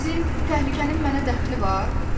Sizin təhlükənin mənə dəxli var?